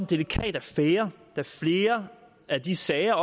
delikat affære da flere af de sager